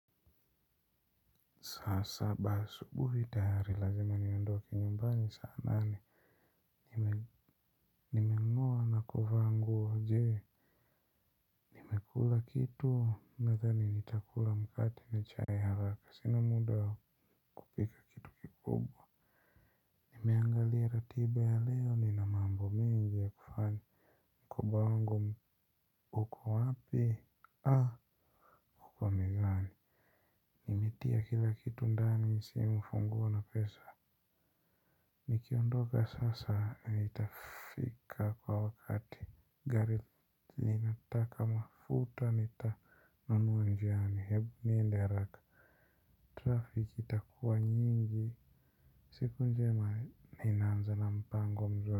Saa saba asubuhi tayari lazima niondoke nyumbani saa nane. Nime ngoa na kuvaa nguo je. Kula kitu nadhani nitakula mkate na chai haraka sina muda ya kupika kikubwa. Nimeangalia ratiba ya leo nina mambo mengi ya kufanya mkoba wangu uko wapi a uko mezani. Nimetia kila kitu ndani simu funguo na pesa. Nikiondoka sasa nitafika kwa wakati gari linataka mafuta nitanunua njiani hebu nienda haraka. Trafik itakuwa nyingi siku njema inaanza na mpango mzuri.